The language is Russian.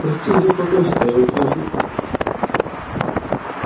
простите за беспокойство я ухожу